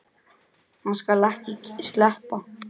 Hann skal ekki sleppa!